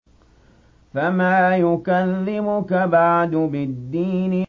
فَمَا يُكَذِّبُكَ بَعْدُ بِالدِّينِ